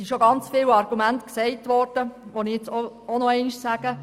Viele Argumente wurden bereits erwähnt.